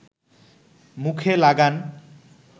মুখে লাগান